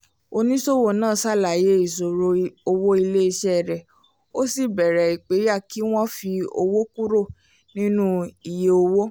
oníṣòwò náà ṣàlàyé ìṣòro owó ilé iṣẹ́ rẹ ó sì bẹ̀rẹ̀ ìpẹ̀yà kí wọ́n fi owó kúrò nínú iye owó